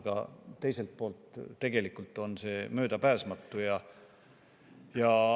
Aga teiselt poolt on see tegelikult möödapääsmatu.